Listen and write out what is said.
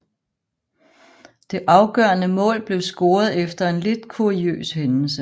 Det afgørende mål blev scoret efter en lidt kuriøs hændelse